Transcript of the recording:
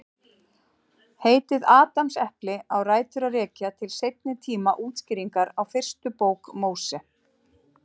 Heitið Adamsepli á rætur að rekja til seinni tíma útskýringar á fyrstu bók Móse.